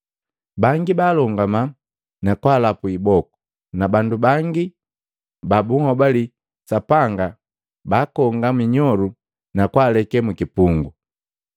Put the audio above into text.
Bangi baalongama na kwaalapu iboku, na bandu bangi ba bunhobali Sapanga baakonga minyolu na kwaaleke mu kipungu.